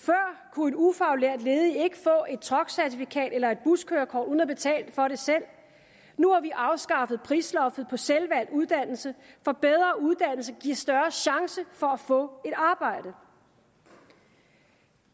kunne en ufaglært ledig ikke få et truckcertikat eller et buskørekort uden at betale for det selv nu har vi afskaffet prisloftet på selvvalgt uddannelse for bedre uddannelse giver større chance for at få et arbejde